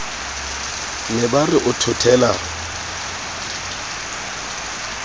ne ba re o thothela